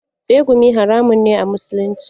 Tsegumi haramun ne a musulunci.